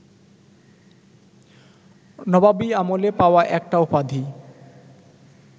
নবাবী আমলে পাওয়া একটা উপাধি